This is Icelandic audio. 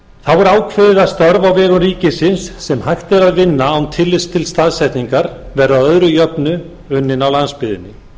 vegum ríkisins sem hægt er að vinna án tillits til staðsetningar verði að öðru jöfnu unnin á landsbyggðinni